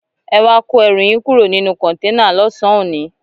Ẹ wá kó ẹrù yín kúrò nínú kọ̀ǹténà lọ́sàn-án òní!